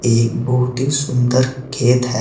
एक बहुत ही सुंदर खेत है।